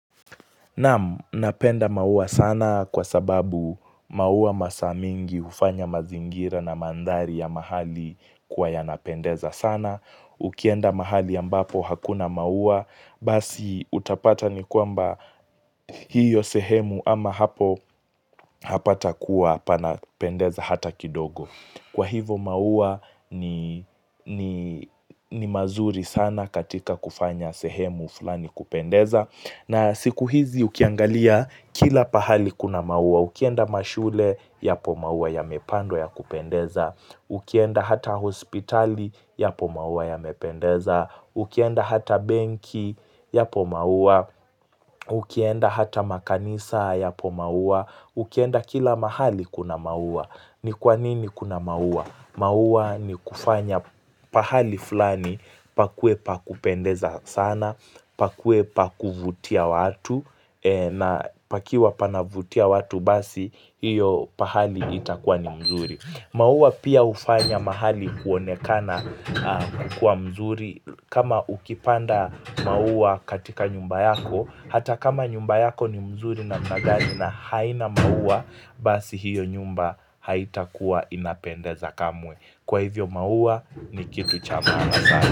Namu, napenda maua sana kwa sababu maua masamingi hufanya mazingira na mandhari ya mahali kuwa yanapendeza sana. Ukienda mahali ambapo hakuna maua basi utapata ni kwamba hiyo sehemu ama hapo hapata kuwa panapendeza hata kidogo. Kwa hivo maua ni mazuri sana katika kufanya sehemu fulani kupendeza. Na siku hizi ukiangalia kila pahali kuna mauwa. Ukienda mashule yapomauwa yamepandwa ya kupendeza. Ukienda hata hospitali ya pomauwa ya mependeza. Ukienda hata benki ya pomauwa. Ukienda hata makanisa yapo mauwa. Ukienda kila mahali kuna mauwa. Ni kwa nini kuna mauwa? Mauwa ni kufanya pahali fulani pakuwepa kupendeza sana, pakwepa kuvutia watu na pakiwa panavutia watu basi hiyo pahali itakuwa ni mzuri. Mauwa pia hufanya mahali kuonekana kuwa mzuri. Kama ukipanda mauwa katika nyumba yako, hata kama nyumba yako ni mzuri na mna gani na haina mauwa, basi hiyo nyumba haitakuwa inapendeza kamwe. Kwa hivyo mauwa ni kitu chamana sana.